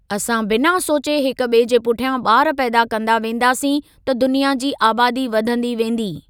असां बिना सोचे हिक ॿिए जे पुठ्यां ॿार पैदा कंदा वेंदासीं त दुनिया जी आबादी वधंदी वेंदी।